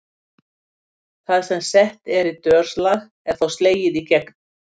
Það sem sett er í dörslag er þá slegið í gegn.